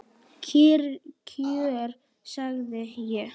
Kyrr kjör, sagði ég.